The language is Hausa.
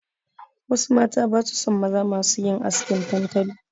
Wasu mata basu son maza masu yin askin tantali.